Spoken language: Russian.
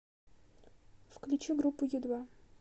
включи группу ю два